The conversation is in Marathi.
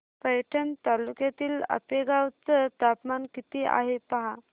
पैठण तालुक्यातील आपेगाव चं तापमान किती आहे पहा